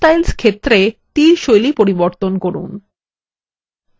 arrow styles ক্ষেত্রে তীর শৈলী পরিবর্তন করুন